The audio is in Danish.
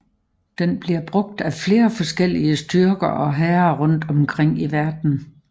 Den bliver brugt af flere forskellige styrker og hære rundt omkring i verden